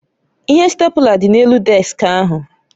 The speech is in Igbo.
Ihe stèpula dị n'elu deski ahụ